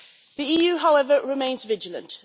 The EU, however, remains vigilant.